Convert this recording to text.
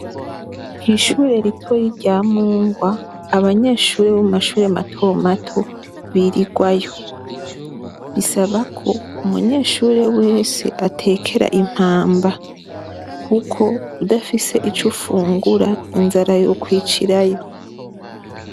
Kw'ishure ritoyi rya Mungwa abanyeshure bo mu mashure mato mato birigwayo. Bisaba ko umunyeshure wese atekera impamba kuko udafise ico ufungura inzara yokwicirayi.